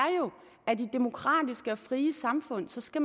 at man i demokratiske og frie samfund skal